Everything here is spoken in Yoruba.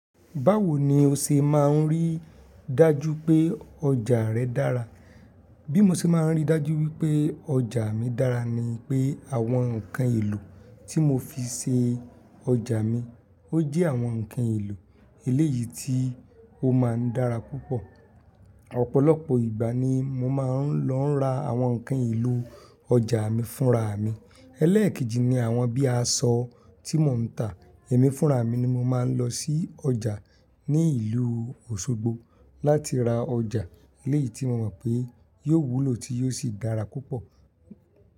Báwo ni o ṣe máa ń rí dájú pé ọjà rẹ dára? Bí mo ṣe máa ń rí dájú wípé ọjà mi dára ni pé àwọn ǹkan èlò tí mo fi ṣe ọjà mi, ó jẹ́ àwọn ǹkan èlò eléyìí tí ó máa ń dára púpọ̀. Ọ̀pọ̀lọpọ̀ ìgbà ni mo máa ń lọ ra àwọn ǹkan èlò ọjà mi fúnra mi. Elékejì ni àwọn bíi aṣọ tí mò ń tà, èmi fúnra mi ni mo máa ń lọ sí ọjà ní ìlú Osogbo láti ra ọjà eléyìí tí mo mọ̀ pé yóò wúlò tí yóò sì dára púpọ̀.